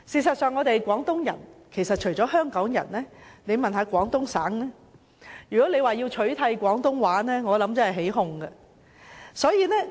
我們是廣東人，除香港人外，如果廣東省的市民被問及要取締廣東話，我想他們真的會起哄。